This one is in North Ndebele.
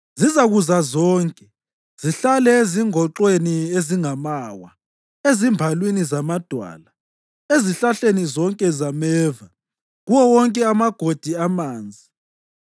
Zizakuza zonke zihlale ezingoxweni ezingamawa, ezimbalwini zamadwala, ezihlahleni zonke zameva kuwo wonke amagodi amanzi.